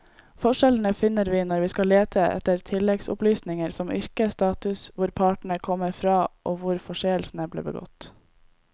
Forskjellene finner vi når vi skal lete etter tilleggsopplysninger som yrke, status, hvor partene kom fra og hvor forseelsen ble begått.